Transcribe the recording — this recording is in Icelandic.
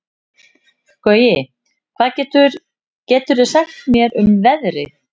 Gaui, hvað geturðu sagt mér um veðrið?